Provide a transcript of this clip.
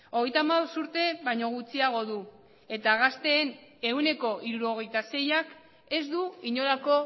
hogeita hamabost urte baino gutxiago du eta gazteen ehuneko hirurogeita seiak ez du inolako